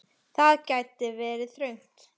Það gæti vegið þungt.